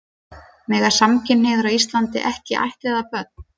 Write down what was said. Mega samkynhneigðir á Íslandi ekki ættleiða börn?